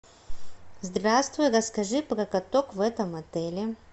здравствуй расскажи про каток в этом отеле